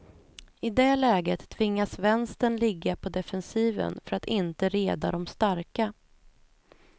I det läget tvingas vänstern ligga på defensiven för att inte reda de starka.